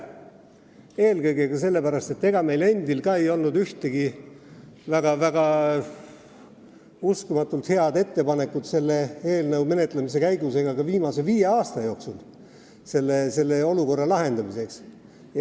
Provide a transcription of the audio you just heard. Seda eelkõige sellepärast, et ega meil endil ka polnud ei selle eelnõu menetlemise käigus ega ka viimase viie aasta jooksul ühtegi väga head ettepanekut olukorra lahendamiseks.